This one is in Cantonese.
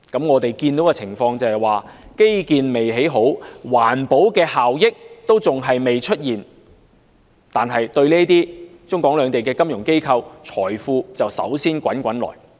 我們看到的情況是，基建未興建好，環保效益尚未出現，但對於中港兩地的金融機構，財富便率先滾滾而來。